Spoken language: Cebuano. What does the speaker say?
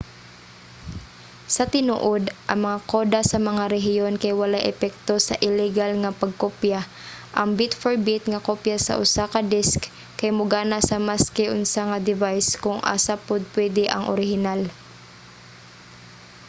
sa tinuod ang mga koda sa mga rehiyon kay walay epekto sa illegal nga pagkopya; ang bit-for-bit nga kopya sa usa ka disk kay mogana sa maski unsa nga device kung asa pod pwede ang orihinal